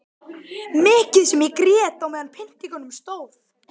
Mikið sem ég grét meðan á pyntingunum stóð.